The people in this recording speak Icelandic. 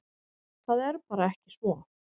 Það er bara ekki svo.